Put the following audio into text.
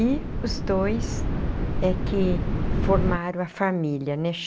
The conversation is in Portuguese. E os dois é que formaram a família, né?